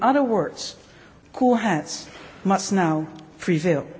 In other words, cool heads must now prevail.